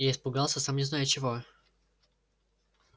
я испугался сам не зная чего